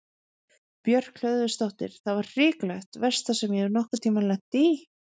Björk Hlöðversdóttir: Það var hrikalegt, versta sem ég hef nokkur tímann lent í?